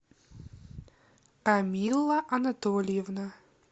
камилла анатольевна